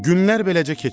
Günlər beləcə keçirdi.